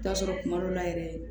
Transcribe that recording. T'a sɔrɔ kuma dɔ la yɛrɛ